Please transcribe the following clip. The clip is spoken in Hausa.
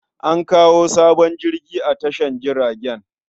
An kawo sabon jirgin a tashar jiragen.